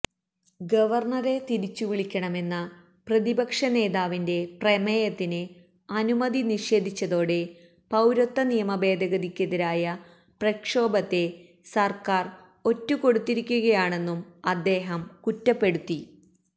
ഗവര്ണറെ തിരിച്ചുവിളിക്കണമെന്ന പ്രതിപക്ഷനേതാവിന്റെ പ്രമേയത്തിന് അനുമതി നിഷേധിച്ചതോടെ പൌരത്വ നിയമഭേദഗതിക്കെതിരായ പ്രക്ഷോഭത്തെ സര്ക്കാര് ഒറ്റുകൊടുത്തിരിക്കുകയാണെന്നും അദ്ദേഹം കുറ്റപ്പെടുത്തി